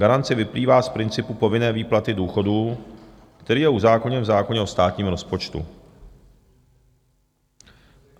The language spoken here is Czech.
Garance vyplývá z principu povinné výplaty důchodů, který je uzákoněn v zákoně o státním rozpočtu.